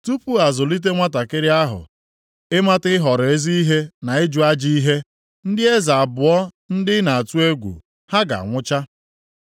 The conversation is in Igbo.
Tupu a zụlite nwantakịrị ahụ ịmata ịhọrọ ezi ihe na ịjụ ajọ ihe, ndị eze abụọ ndị ị na-atụ egwu ha, ga-anwụcha.